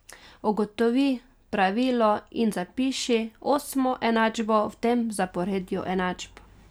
Ugotovi pravilo in zapiši osmo enačbo v tem zaporedju enačb.